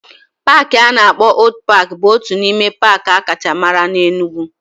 Paaki a na-akpọ Old paaki bụ otu n'ime paaki akacha mara na Enugwu